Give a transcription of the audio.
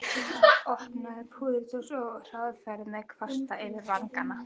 Opnaði púðurdós og fór hraðferð með kvasta yfir vangana.